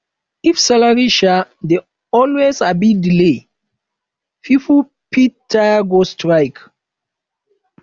if salary um dey always um delay pipo fit tire go strike